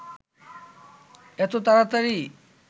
এত তাড়াতাড়ি